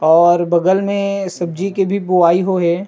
और बगल मे सब्जी के भी बोआई हो हे।